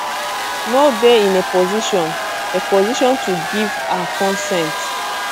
no dey in a position a position to give her consent